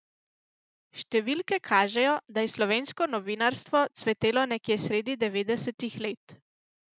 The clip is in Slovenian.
Številke kažejo, da je slovensko novinarstvo cvetelo nekje sredi devetdesetih let.